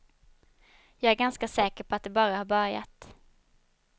Jag är ganska säker på att det bara har börjat.